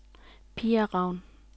Pia Raun